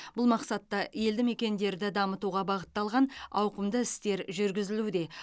бұл мақсатта елді мекендерді дамытуға бағытталған ауқымды істер жүргізілуде